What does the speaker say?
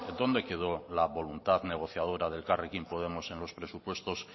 dónde quedó la voluntad negociadora de elkarrekin podemos en los presupuestos